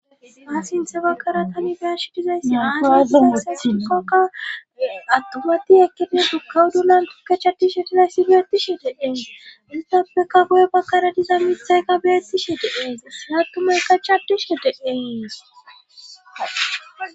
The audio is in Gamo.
Ha sinthe bakara tani biyash dizayssa dowadunisa shiqoka attumati ekkidide gukkawu dulan tukkechatishe dilayssi deetishe dee istappeka guye bakara diza mithayka beettishe dees attumay kachaddishe deeyees